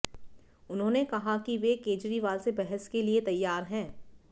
उन्होंने कहा कि वे केजरीवाल से बहस के लिए तैयार हैं